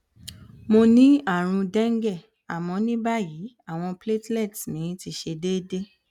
mo ni àrùn dengue àmọ ní báyìí awon platelets mi se deede